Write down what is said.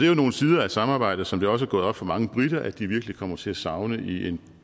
jo nogle sider af samarbejdet som det også er gået op for mange briter at de virkelig kommer til at savne i en